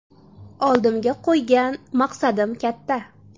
Oldimga qo‘ygan maqsadim katta.